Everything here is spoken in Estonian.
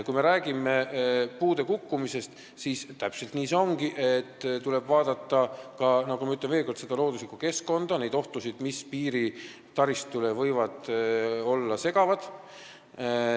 Kui me räägime puude kukkumisest, siis täpselt nii see ongi, et tuleb vaadata, ma ütlen veel kord, seda looduslikku keskkonda, neid ohtusid, mis piiritaristut võivad segada.